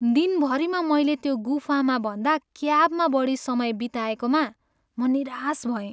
दिनभरिमा मैले त्यो गुफामा भन्दा क्याबमा बढी समय बिताएकोमा म निराश भएँ।